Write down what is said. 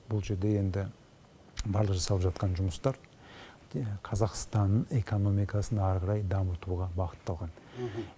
бұл жерде енді барлық жасалып жатқан жұмыстар қазақстан экономкасын ары қарай дамытуға бағытталған